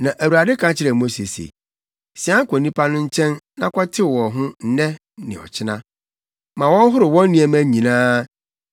Na Awurade ka kyerɛɛ Mose se, “Sian kɔ nnipa no nkyɛn na kɔtew wɔn ho nnɛ ne ɔkyena. Ma wɔnhoro wɔn nneɛma nyinaa,